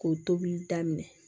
K'o tobili daminɛ